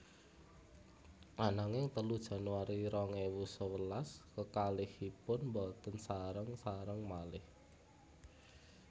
Ananging telu Januari rong ewu sewelas kekalihipun boten sareng sareng malih